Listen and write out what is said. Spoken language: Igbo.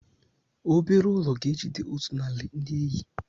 Obere ụlọ ga-ejide otu narị ndị enyi.